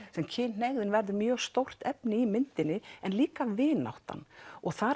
kynhneigðin verður mjög stórt efni í myndinni en líka vináttan þar